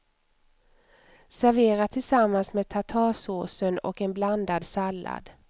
Servera tillsammans med tartarsåsen och en blandad sallad.